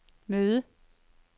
møde